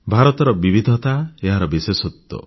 ଭାରତର ବିବିଧତା ଏହାର ବିଶେଷତ୍ୱ